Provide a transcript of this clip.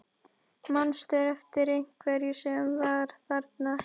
Manstu eftir einhverjum sem var þarna ekki?